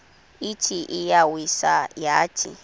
ithi iyawisa yathi